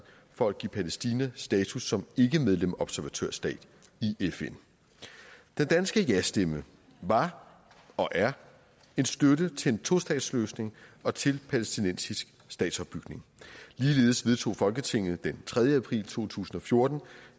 for at give palæstina status som ikkemedlemsobservatørstat i fn den danske jastemme var og er en støtte til en tostatsløsning og til en palæstinensisk statsopbygning ligeledes vedtog folketinget den tredje april to tusind og fjorten